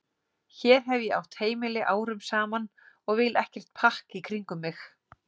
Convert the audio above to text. Hér hef ég átt heimili árum saman og vil ekkert pakk í kringum mig.